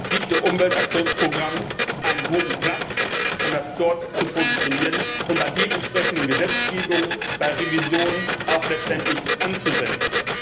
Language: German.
7. Umweltaktionsprogramm einen guten Platz, um das dort zu positionieren und bei dementsprechenden Gesetzgebungen bei Revisionen auch letztendlich anzuwenden.